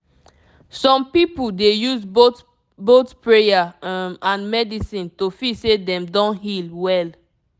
some people dey use both both prayer um and medicine to feel say dem don heal well